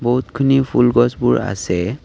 বহুতখিনি ফুল গছবোৰ আছে।